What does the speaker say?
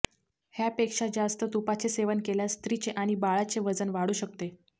ह्या पेक्षा जास्त तुपाचे सेवन केल्यास स्त्रीचे आणि बाळाचे वजन वाढू शकते